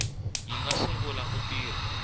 yi nga sungula ku tirha